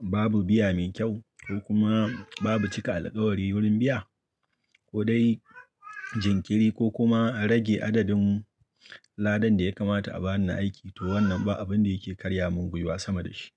babu biya mai kyau ko kuma babu cika alkawari wurin biya ko dai jinkiri ko kuma a rage adadin ladan da ya kamata a ba ni na aiki, to wannan ba abun da yake karya mun guiwa sama da shi.